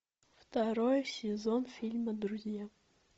второй сезон фильма друзья